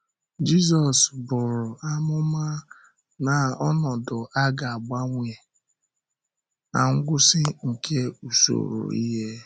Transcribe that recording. Jizọs bụ̀rụ amụma na ọnọdụ a ga-agbanwe na ngwụsị nke usoro ihe.